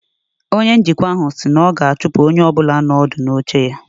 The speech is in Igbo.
Onye njikwa ahụ si na ọ ga-achụpụ onye ọ bụla nọ ọdụ n'oche ya